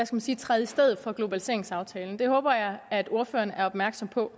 som skal træde i stedet for globaliseringsaftalen det håber jeg at ordføreren er opmærksom på